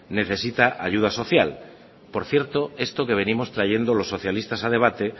necesita ayuda social por cierto esto que venimos trayendo los socialistas a debate